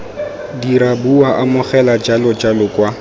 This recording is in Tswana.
dira bua amogela jalojalo kwa